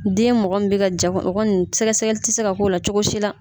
Den mɔgɔ min bɛ ka ja o kɔni sɛgɛsɛgɛli tɛ se ka k'o la cogo si la